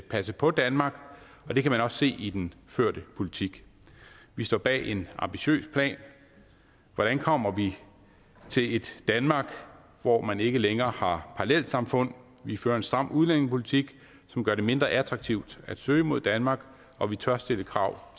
passe på danmark og det kan man også se i den førte politik vi står bag en ambitiøs plan hvordan kommer vi til et danmark hvor man ikke længere har parallelsamfund vi fører en stram udlændingepolitik som gør det mindre attraktivt at søge mod danmark og vi tør stille krav